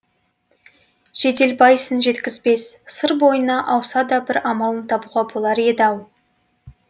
жеделбайсын жеткізбес сыр бойына ауса да бір амалын табуға болар еді ау